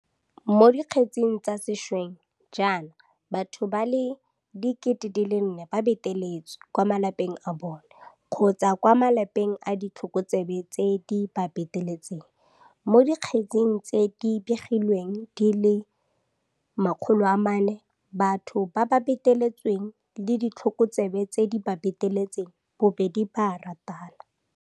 Mo dikgetseng tsa sešweng jaana batho ba le 4 000 ba beteletswe kwa malapeng a bona kgotsa kwa malapeng a ditlhokotsebe tse di ba beteletseng, mo dikgetseng tse di begilwengdi le 400 batho ba ba beteletsweng le ditlhokotsebe tse di ba beteletseng bobedi ba a ratana.